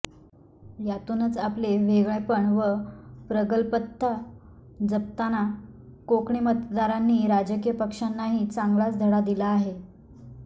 यातूनच आपले वेगळेपण व प्रगल्भता जपताना कोकणी मतदारांनी राजकीय पक्षांनाही चांगलाच धडा दिला आहे